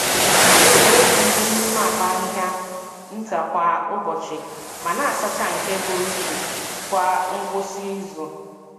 Anyị na-ewepụ ihe n’ime akpa ahịhịa nta kwa ụbọchị, ma na-asacha nke buru ibu kwa ngwụsị izu.